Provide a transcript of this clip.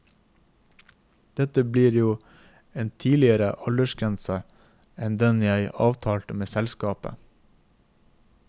Dette blir jo en tidligere aldersgrense enn den jeg avtalte med selskapet.